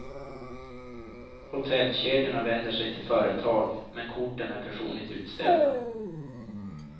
Hotellkedjorna vänder sig till företag, men korten är personligt utställda.